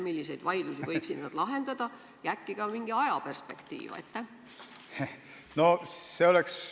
Milliseid vaidlusi võiksid nad lahendada ja äkki pakute ka mingi ajaperspektiivi?